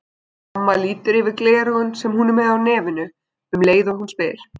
Amma lítur yfir gleraugun, sem hún er með á nefinu, um leið og hún spyr.